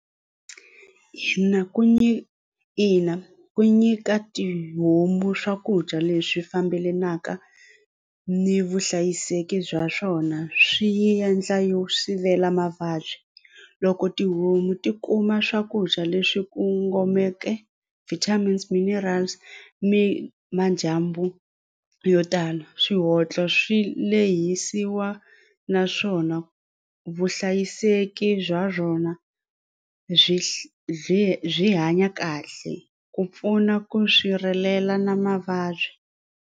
ku nyika ina ku nyika tihomu swakudya leswi fambelanaka ni vuhlayiseki bya swona swi yi endla yo sivela mavabyi loko tihomu ti kuma swakudya leswi kongomeke vitamins mineral se mi madyambu yo tala swihatla swi lehisa naswona vuhlayiseki bya byona byi byi byi hanya kahle ku pfuna ku sirhelela na mavabyi.